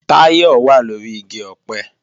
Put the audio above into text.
Táyọ̀ wà lóri igi ọ̀pẹ